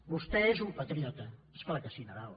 vostè és un patriota és clar que sí nadal